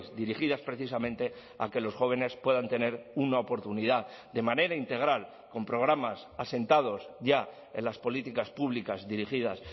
dirigidas precisamente a que los jóvenes puedan tener una oportunidad de manera integral con programas asentados ya en las políticas públicas dirigidas